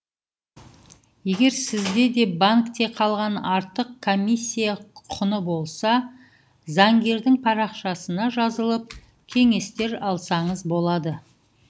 егер сізде де банкте қалған артық комиссия құны болса заңгердің парақшасына жазылып кеңестер алсаңыз болады